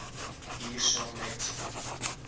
hier saam met